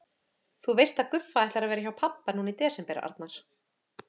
Þú veist að Guffa ætlar að vera hjá pabba núna í desember, Arnar